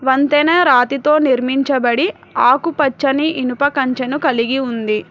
వంతెన రాతితో నిర్మించబడి ఆకుపచ్చని ఇనుప కంచను కలిగి ఉంది.